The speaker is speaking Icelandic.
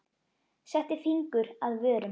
Setti fingur að vörum.